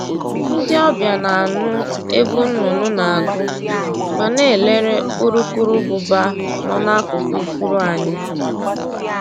Ndị ọbịa na-anụ egwu nnụnụ na-agụ ma na-elere urukurụbụba nọ n'akụkụ ifuru anyị